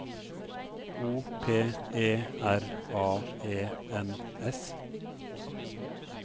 O P E R A E N S